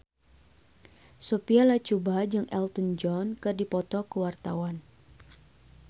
Sophia Latjuba jeung Elton John keur dipoto ku wartawan